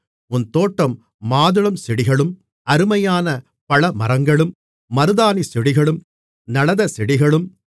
உன் தோட்டம் மாதுளம்செடிகளும் அருமையான பழமரங்களும் மருதாணிச் செடிகளும் நளதச்செடிகளும்